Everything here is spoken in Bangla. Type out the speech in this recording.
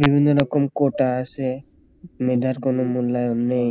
বিভিন্ন রকম কোটা আছে মেধার কোন মূল্যায়ন নেই